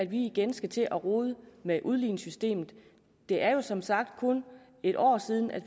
vi igen skal til at rode med udligningssystemet det er som sagt kun et år siden